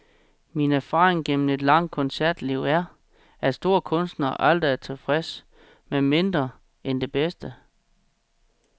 Min erfaring gennem et langt koncertliv er, at store kunstnere aldrig er tilfredse med mindre end det bedste.